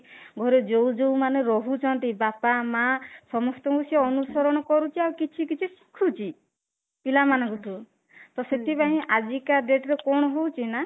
ଘରେ ଯୋଉ ଯୋଉ ମାନେ ରହୁଛନ୍ତି ବାପା ମା ସମସ୍ତଙ୍କୁ ସେ ଅନୁସରଣ କରୁଛି ଆଉ କିଛି କିଛି ଶିଖୁଛି ପିଲା ମାନଙ୍କଠୁ ତ ସେଥିପାଇଁ ଆଜିକା date ରେ କଣ ହଉଚି ନା